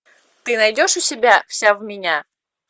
ты найдешь у себя вся в меня